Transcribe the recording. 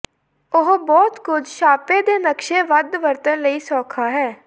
ਉਹ ਬਹੁਤ ਕੁਝ ਛਾਪੇ ਦੇ ਨਕਸ਼ੇ ਵੱਧ ਵਰਤਣ ਲਈ ਸੌਖਾ ਹੈ